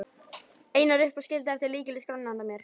Einar upp og skildi eftir lykil í skránni handa mér.